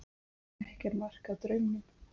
Ekki er mark að draumum.